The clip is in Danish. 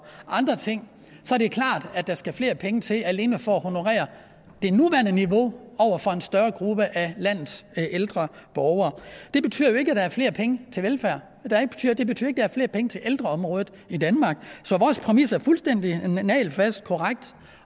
andre ting så er det klart at der skal flere penge til alene for at honorere det nuværende niveau over for en større gruppe af landets ældre borgere det betyder jo ikke at der er flere penge til velfærd det betyder ikke er flere penge til ældreområdet i danmark så vores præmis er fuldstændig nagelfast korrekt